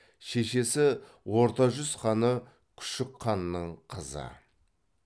шешесі орта жүз ханы күшік ханның қызы